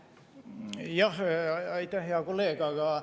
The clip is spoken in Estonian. Aitäh, hea kolleeg!